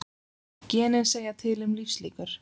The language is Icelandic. Genin segja til um lífslíkur